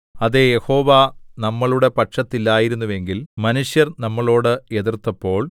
അതേ യഹോവ നമ്മളുടെ പക്ഷത്തില്ലായിരുന്നുവെങ്കിൽ മനുഷ്യർ നമ്മളോട് എതിർത്തപ്പോൾ